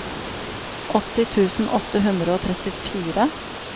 åtti tusen åtte hundre og trettifire